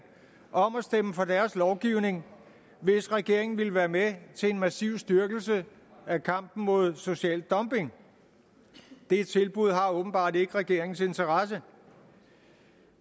om at stemme for deres lovgivning hvis regeringen ville være med til en massiv styrkelse af kampen mod social dumping det tilbud har åbenbart ikke regeringens interesse